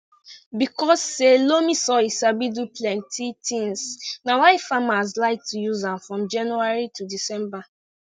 because say loamy soil sabi do plenti tins na why farmers like to use am from january to december